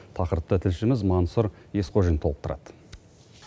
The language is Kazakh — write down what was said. тақырыпты тілшіміз мансұр есқожин толықтырады